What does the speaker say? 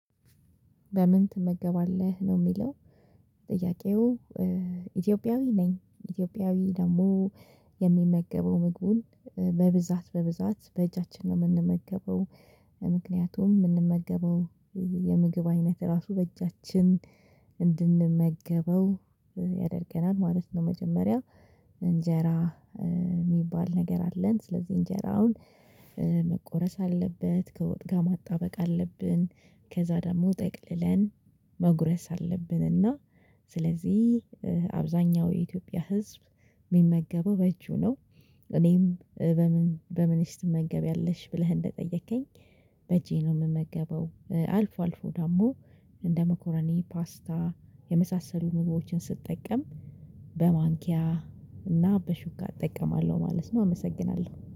በምን ትመገባለህ ነው የሚለው? ጥያቄው ኢትዮጵያዊ ነኝ ኢትዮጵያዊ ደግሞ የሚመገበው ምግቡን በብዛት በብዛት በእጃችን ነው የምንመገበው የምንመገበው የምግብ አይነት ራሱ በእጃችን እንድንመገበው ያደርገናል ማለት ነው። መጀመሪያ እንጀራ የሚባል ነገር አለን ስለዚህ እንጀራውን መቆረስ አለበት ከወጥ ጋር ማጣበቅ አለብን። ከዛ ደግሞ ጠቅልለን መጉረስ አለብንና ስለዚህ አብዛኛው የኢትዮጵያ ህዝብ የሚመገበው በእጁ ነው። እኔም በምን በምንሽ ትመገቢያለሽ ብለህ እንደጠየከኝ በእጄ ነው የምመገበው። አልፎ አልፎ ደግሞ እንደ መኮረኔ ፓስታ የመሳሰሉ ምግቦችን ስትጠቀም በማንኪያ እና በሹካ እጠቀማለሁ ማለት ነው። አመሰግናለሁ